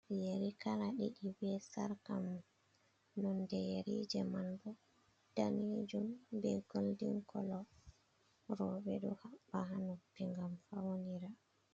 Yari kala diɗi be sarka mun nonde yari je man bo danejum be goldin kolo. Roɓe ɗo habba ha noppi ngam fawnira